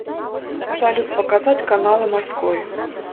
салют показать каналы морской